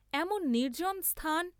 এমন নির্জ্জন স্থান?